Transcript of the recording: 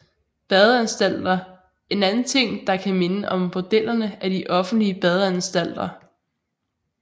Badeanstalter En anden ting der kan minde om bordellerne er de offentlige badeanstalter